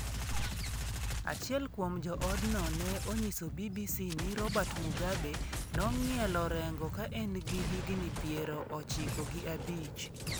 Achiel kuom jo odno ne onyiso BBC ni Robert Mugabe nong'ielo rengo ka en gi higni piero ochiko gi abich.